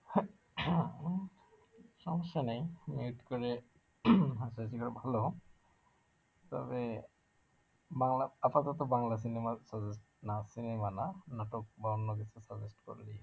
উম সমস্যা নেই mute করে করে ভালো হয়, তবে বাংলা আপাতত বাংলা cinema র না cinema না নাটক বা অন্যকিছু suggest করলেই হবে